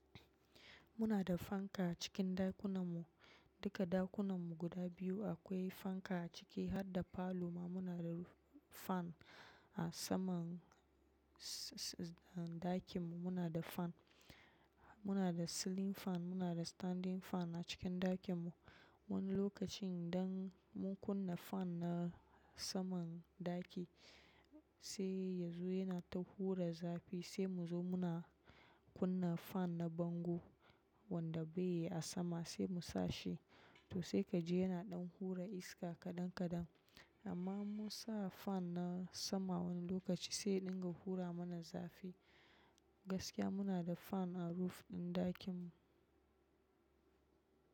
Muna da fanka acikin ɗakunanmu. Duka ɗakunanmu guda biyu akwai fanka a ciki. Har da falo ma muna da fan a saman s-s ɗakin mu muna da fan. Muna da ceiling fan, muna da standing fan a cikin ɗakin mu. Wani lokacin idan mun kunna fan na saman ɗaki sai ya zo yana ta hura zafi sai mu zo muna kunna fan na bango wanda bai yi a sama sai mu sa shi to sai ka ji yana ɗan hura iska kaɗan kaɗan. Amma mun sa fan na sama wani lokaci sai ɗinga hura mana zafi. Gaskiya muna da fan a roof ɗin ɗakin mu.